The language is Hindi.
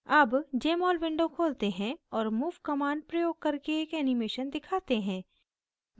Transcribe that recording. अब jmol window खोलते हैं और move command प्रयोग करके एक animation दिखाते हैं